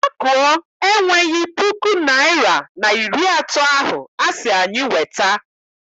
Makuo enweghị puku naịra na iri atọ ahụ asị anyị weta.